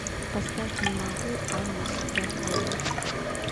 поставь не могу анна седокова